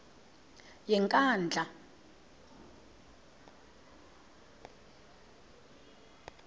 yenkandla